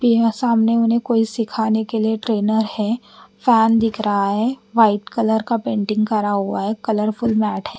तो यहाँ सामने उन्हे कोई सीखाने के लिए ट्रेनर है फॅन दिख रहा है व्हाइट कलर का पेंटिंग करा हुआ है कलरफुल मॅट है।